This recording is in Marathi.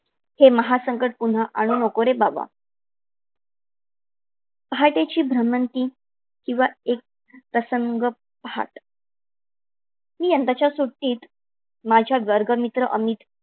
हे महासंकट पुन्हा आणू नको रे बाबा. पहाटेची भ्रमंती किंवा एक प्रसंग पहाट. मी यंदाच्या त्याला सुट्टीत माझा वर्ग मित्र अमित